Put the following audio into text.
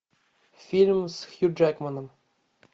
фильм с хью джекманом